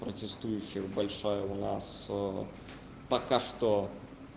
протестующих большая у нас пока что